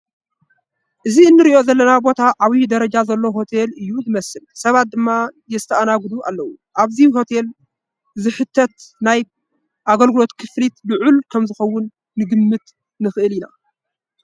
እቲ ንሪኦ ዘለና ቦታ ዓብዪ ደረጃ ዘለዎ ሆቴል እዩ ዝመስል፡፡ ሰባት ድማ ይስተኣናገድሉ ኣለዉ፡፡ ኣብዚ ሆቴል ዝሕተት ናይ ኣገልግሎት ክፍሊት ልዑል ከምዝኸውን ክንግምት ንኽእል ኢና፡፡